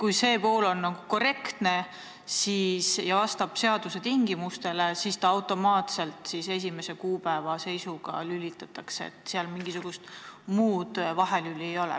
Kui see pool on korrektne ja vastab seaduse tingimustele, siis see ühing automaatselt esimese kuupäeva seisuga lülitatakse sinna nimekirja, seal mingisugust muud vahelüli ei ole.